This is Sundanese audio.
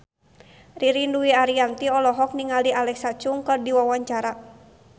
Ririn Dwi Ariyanti olohok ningali Alexa Chung keur diwawancara